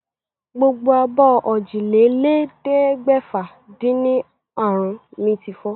Gbogbo abọ́ òjìlélẹ́ẹ̀ẹ́dẹ́gbẹ́fà-dín-ní àrún mi ti fọ́.